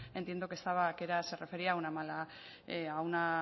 entiendo que estaba que era se refería a una mala a una